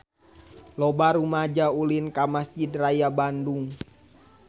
Loba rumaja ulin ka Mesjid Raya Bandung